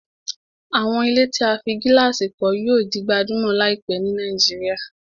Àwọn ilé tí a fí gílàsì kọ́ yíò di gbajúmọ̀ láìpẹ́ ni Nàìjíríà